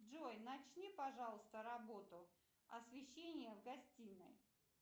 джой начни пожалуйста работу освещение в гостиной